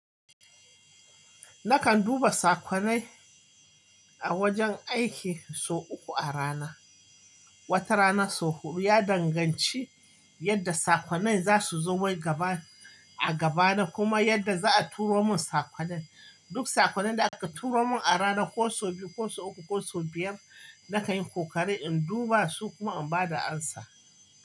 Nakan duba saƙonnai a wajen aiki sau uku a rana. Wata rana sau huɗu. Ya danganci yadda saƙonai za su zo a gaba da kuma yadda za a turo mun saƙonai. Duk saƙonai da aka turo mun a rana ko sau biyu ko sau uku ko sau biyar nakan yi ƙoƙari in duba su kuma in ba da amsa.